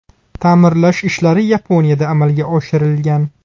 Ta’mirlash ishlari Yaponiyada amalga oshirilgan.